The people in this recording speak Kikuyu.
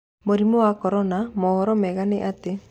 Mũrimũ wa Korona: Mohoro mega nĩ atĩ...